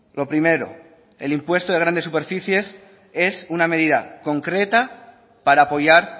lo primero el impuesto de grandes superficies es una medida concreta para apoyar